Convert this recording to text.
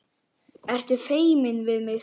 Ertu feimin við mig?